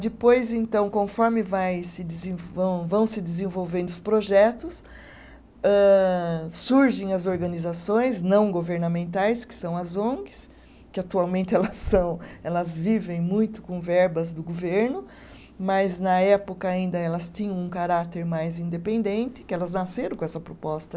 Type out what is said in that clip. Depois então, conforme vai se desen vão vão se desenvolvendo os projetos, âh surgem as organizações não governamentais, que são as ongs, que atualmente elas são, elas vivem muito com verbas do governo, mas na época ainda elas tinham um caráter mais independente, que elas nasceram com essa proposta.